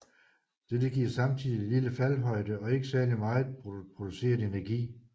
Dette giver samtidig lille faldhøjde og ikke særlig megen produceret energi